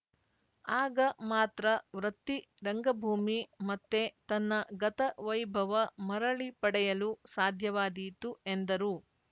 ಆಗ ಮಾತ್ರ ವೃತ್ತಿ ರಂಗಭೂಮಿ ಮತ್ತೆ ತನ್ನ ಗತ ವೈಭವ ಮರಳಿ ಪಡೆಯಲು ಸಾಧ್ಯವಾದೀತು ಎಂದರು